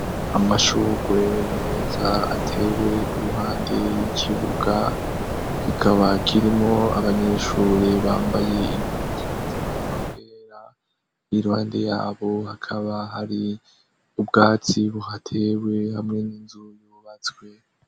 Amashugwe meza atewe iruhande y'ikibuga kikaba kirimwo abanyeshure bambaye impuzu zigomba kwera iruhande yabo hakaba hari ubwatsi buhatewe hamwe n'inzu yubatswe.